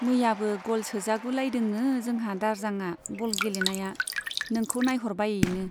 मैयाबो ग'ल सोजागुलायदोंनो जोंहा दारजांआ बल गेलेनाया, नोंखौ नाइह'रबायैनो।